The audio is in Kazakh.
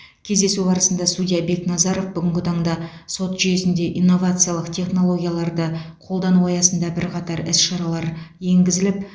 кездесу барысында судья бекназаров бүгінгі таңда сот жүйесінде инновациялық технологияларды қолдану аясында бірқатар іс шаралар енгізіліп